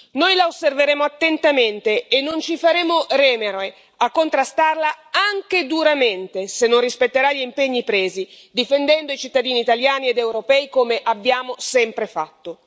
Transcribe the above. Noi La osserveremo attentamente e non ci faremo remore a contrastarla anche duramente se non rispetterà gli impegni presi, difendendo i cittadini italiani ed europei, come abbiamo sempre fatto.